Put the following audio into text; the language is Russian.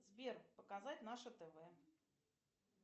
сбер показать наше тв